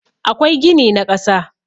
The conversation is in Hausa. akwai gini na kasa